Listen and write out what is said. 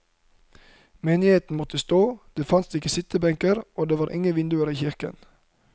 Menigheten måtte stå, det fantes ikke sittebenker og det var ingen vinduer i kirken.